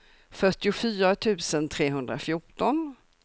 fyrtiofyra tusen trehundrafjorton